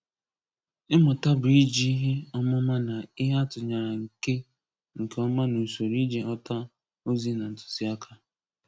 Ịmụta bụ i ji ihe ọmụma na ihe atụnyere nke nke ọma n'usoro iji ghọta ozi na ntuziaka.